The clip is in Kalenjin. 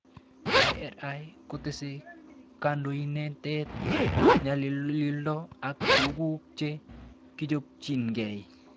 IRI kotese kandoinatet, ng'alalindo ak tuguk che kichopchinikei